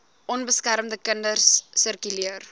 onbeskermde kinders sirkuleer